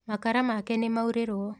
Makara make nĩmaurĩrũo.